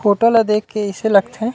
Photo ल देख के अइसे लगथे।